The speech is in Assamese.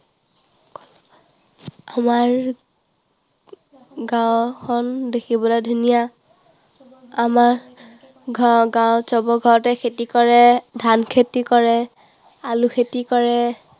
আমাৰ গাঁওখন দেখিবলৈ ধুনীয়া। আমাৰ গাঁৱত সবৰ ঘৰতে খেতি কৰে, ধান খেতি কৰে, আলু খেতি কৰে।